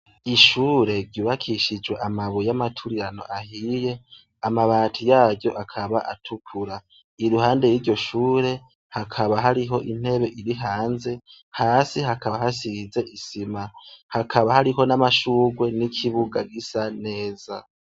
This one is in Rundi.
Ishure ryubakishijwe amabuye amaturirano ahiye amabati yayo akaba atukura iruhande y'iryo shure hakaba hariho intebe iri hanze hasi hakaba hasize isima hakaba hariho n'amashurwe n'ikibuga gisa neza.